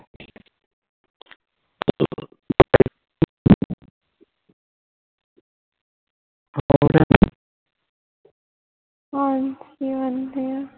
ਹਾਂਜੀ ਵਧੀਆ